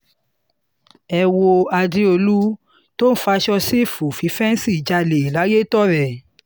ẹ wo àdéòlù tó ń faṣọ sífù fífẹ́ǹsì jálẹ̀ layétọrẹ